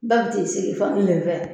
Ba bi t'i sigi fan kelen fɛ